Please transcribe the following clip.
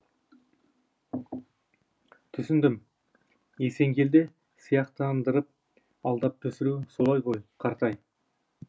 түсіндім есенгелді сияқтандырып алдап түсіру солай ғой қартай